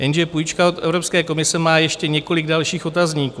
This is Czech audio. Jenže půjčka od Evropské komise má ještě několik dalších otazníků.